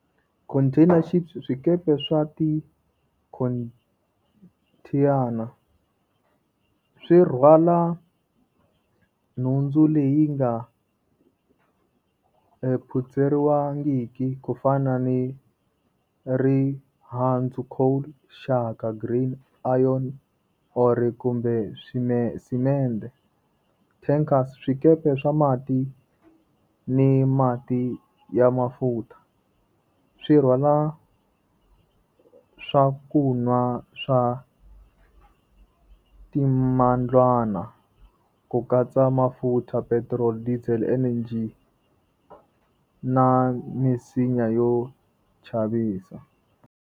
Container ships swikepe swa tikhonthiyana, swi rhwala nhundzu leyi nga phutseriwangiki ku fana ni rihandzu coal green iron or kumbe . Tankers swikepe swa mati ni mati ya mafutha. Swi rhwala swa ku nwa swa ku katsa mafurha petrol diesel energy na misinya yo chavisa.